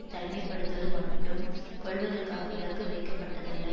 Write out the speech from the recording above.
தனிமை படுத்துவது மட்டும் கொல்வதற்காக இலக்கு வைக்கப்பட்டதல்ல